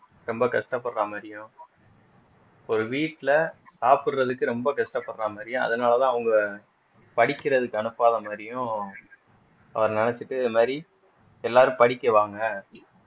ரொம்ப கஷ்டப்படுற மாதிரியும் ஒரு வீட்டுல சாப்பிடுறதுக்கு ரொம்ப கஷ்டப்படுற மாதிரியும் அதனாலதான் அவங்க படிக்கிறதுக்கு அனுப்பாத மாதிரியும் அவரு நினைச்சுட்டு இந்த மாதிரி எல்லாரும் படிக்க வாங்க